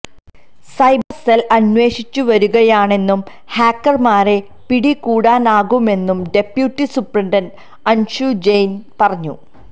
cyber cell അന്വേഷിച്ചുവരികയാണെന്നും ഹാക്കര്മാരെ പിടികൂടാനാകുമെന്നും ഡെപ്യൂട്ടി സൂപ്രണ്ട് അന്ഷു ജെയിന് പറഞ്ഞു